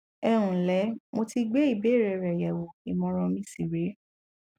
ẹ ǹlẹ mo ti gbé ìbéèrè rẹ yẹwò ìmọràn mi sì rè é